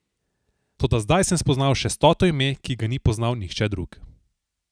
Toda zdaj sem spoznal še stoto ime, ki ga ni poznal nihče drug.